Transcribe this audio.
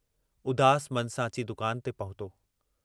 उदास मन सां अची दुकान ते पहुतो।